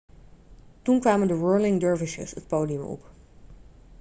toen kwamen de whirling dervishes het podium op